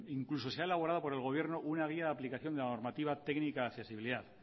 incluso se ha elaborado por el gobierno una guía de aplicación de la normativa técnica de accesibilidad